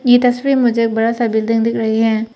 ये तस्वीर में मुझे एक बड़ा सा बिल्डिंग दिख रही है।